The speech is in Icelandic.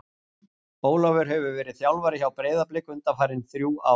Ólafur hefur verið þjálfari hjá Breiðablik undanfarin þrjú ár.